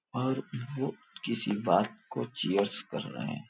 और वो किसी बात को चियर्स कर रहा है।